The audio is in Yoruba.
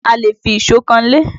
A lè fi ìṣó kanlé